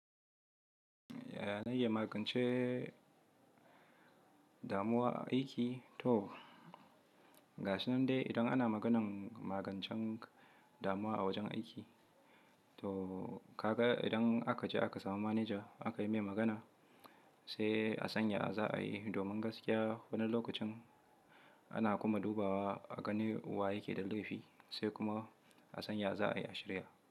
Na iya magance damuwa aiki? To ga shi nan dai idan ana maganan magancen damuwa a wajen aiki. To ka ga idan aka je aka samu manaja aka yi mai magana sai a sanya za a yi domin gaskiya wani lokacin na iya magance damuwa a aiki? To ga shi nan dai idan ana maganan magancen damuwa a wajen aiki.